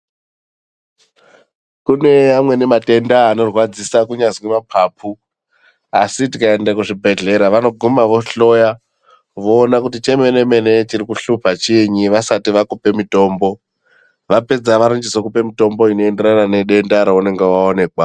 Kune amweni matenda anorwadzisa kunyazi mapapu ASI tikaenda kuzvibhehlera vanoguma vohloya voona kuti chemene mene chiri kuhlupa chinyi vasati vakuipa mitombo vapedza vanozokupa mutombo unoenderana nedenda raunenge waonekwa.